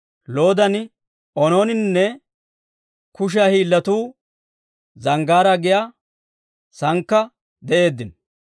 Loodan, Oonooninne Kushiyaa Hiillatuu Zanggaaraa giyaa saankka de'eeddino.